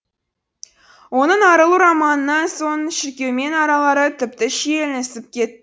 оның арылу романынан соң шіркеумен аралары тіпті шиеленісіп кет